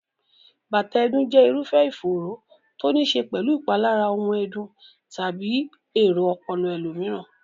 bátàà ẹ̀dùn jẹ́ irúfẹ́ ìfòòró to níí ṣe pẹ̀lú ìpalára ohun ẹ̀dùn tàbí èrò ọpọlọ ẹlòmíràn.